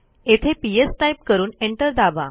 तेथे PS type करून enter दाबा